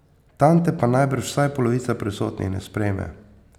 Tam te pa najbrž vsaj polovica prisotnih ne sprejme.